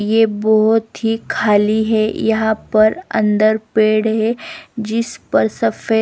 ये बहुत ही खाली है यहां पर अंदर पेड़ है जिस पर सफेद--